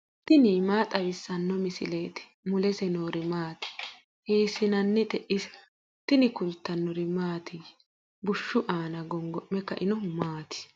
tini maa xawissanno misileeti ? mulese noori maati ? hiissinannite ise ? tini kultannori mattiya? bushshu aanna gongo'me kainohu maati?